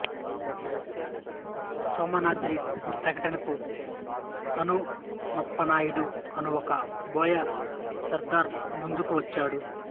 సోమనాద్రి ప్రకటనకు హనుమప్పనాయుడు అను ఒక బోయ సర్ధారు ముందుకు వచ్చాడు